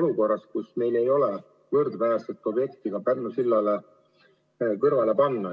olukorras, kus meil ei ole võrdväärset objekti Pärnu sillale kõrvale panna.